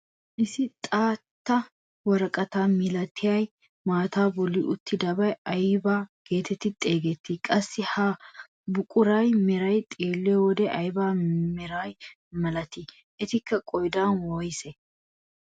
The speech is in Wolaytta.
Issi xaatta woraqataa milatiyaa maataa bolli uttidabay aybaa getetti xeegettii? qassi ha buquraa meray xeelliyoode ayba meraa milatii? Etikka qoodan woysee?